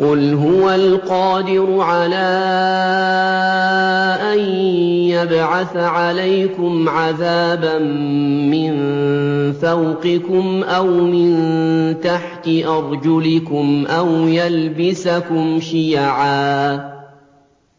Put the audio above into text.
قُلْ هُوَ الْقَادِرُ عَلَىٰ أَن يَبْعَثَ عَلَيْكُمْ عَذَابًا مِّن فَوْقِكُمْ أَوْ مِن تَحْتِ أَرْجُلِكُمْ